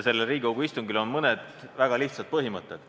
Sellel Riigikogu istungil on mõned väga lihtsad põhimõtted.